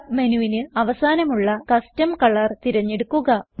submenuവിന് അവസാനമുള്ള custom colour തിരഞ്ഞെടുക്കുക